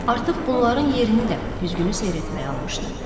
Artıq bunların yerini də güzgünü seyr etməyə almışdı.